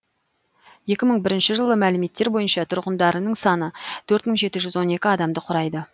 екі мың бірінші жылғы мәліметтер бойынша тұрғындарының саны төрт мың жеті жүз он екі адамды құрайды